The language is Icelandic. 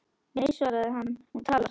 Nei svaraði hann, hún talar